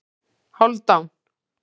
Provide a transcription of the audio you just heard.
Hálfdan